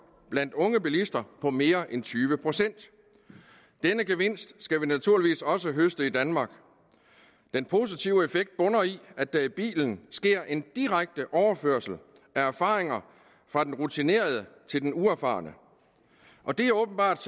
blandt unge bilister på mere end tyve procent denne gevinst skal vi naturligvis også høste i danmark den positive effekt bunder i at der i bilen sker en direkte overførsel af erfaringer fra den rutinerede til den uerfarne det er åbenbart